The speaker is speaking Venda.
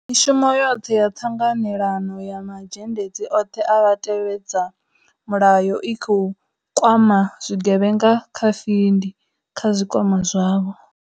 Mishumo yoṱhe ya ṱhanganelano ya ma zhendedzi oṱhe a vhatevhedza mulayo i khou kwama zwi gevhenga kha findi, kha zwikwama zwavho.